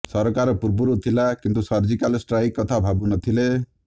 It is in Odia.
ସରକାର ପୂର୍ବରୁ ଥିଲା କିନ୍ତୁ ସର୍ଜିକାଲ ଷ୍ଟ୍ରାଇକ କଥା ଭାବୁ ନଥିଲେ